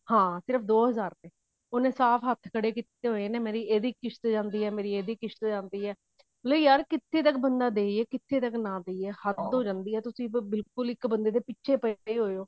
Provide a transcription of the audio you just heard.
ਹਾਂ ਸਿਰਫ ਦੋ ਹਜ਼ਾਰ ਦੇ ਉਹਨੇ ਸਾਫ਼ ਹੱਥ ਖੜੇ ਕਿਤੇ ਹੋਏ ਨੇ ਮੇਰੀ ਇਹਦੀ ਕਿਸ਼੍ਤ ਜਾਂਦੀ ਹੈ ਮੇਰੀ ਇਹਦੀ ਕਿਸ਼੍ਤ ਜਾਂਦੀ ਹੈ ਨਹੀਂ ਯਾਰ ਕਿੱਥੇ ਤੱਕ ਬੰਦਾ ਦਵੇ ਕਿੱਥੇ ਤੱਕ ਨਾ ਦਵੇ ਹੱਦ ਹੋ ਜਾਂਦੀ ਆ ਬਿਲਕੁਲ ਤੁਸੀਂ ਇੱਕ ਬੰਦੇ ਦੇ ਪਿੱਛੇ ਪਾਏ ਹੋਏ ਓ